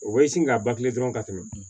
O bɛ sin ka ban kilen dɔrɔn ka tɛmɛ